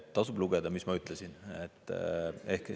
Tasub lugeda, mis ma ütlesin.